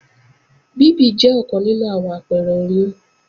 Bíbì jẹ́ ọ̀kan nínú àwọn àpẹrẹ oyún